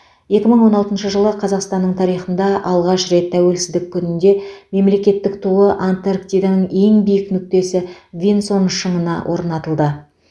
екі мың он алтыншы жылы қазақстанның тарихында алғаш рет тәуелсіздік күнінде мемлекеттік туы антарктиданың ең биік нүктесі винсон шыңына орнатылды